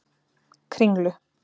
Kringlu